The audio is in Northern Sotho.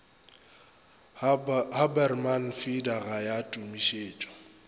haberman feeder ga ya tumišetšwe